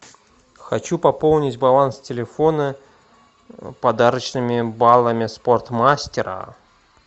хочу пополнить баланс телефона подарочными баллами спортмастера